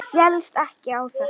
Ég féllst ekki á þetta.